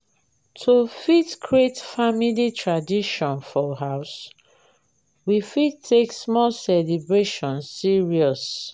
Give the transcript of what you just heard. to fit create family tradition for house we fit take small celebration serious